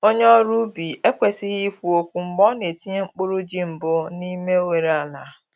Onye ọrụ ubi ekwesịghị ikwu okwu mgbe ọ na-etinye mkpụrụ ji mbụ n’ime oghere ala.